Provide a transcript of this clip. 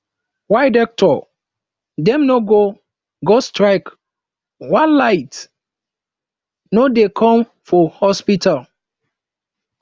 why doctor dem no go go strike wen light no dey come for hospital